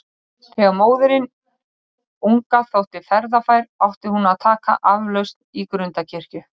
Þegar móðirin unga þótti ferðafær, átti hún að taka aflausn í Grundarkirkju.